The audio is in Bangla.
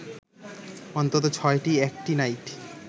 অন্তত ছয়টি অ্যাক্টিনাইড